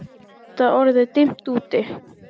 Það var auðvitað orðið dimmt úti.